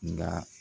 Nka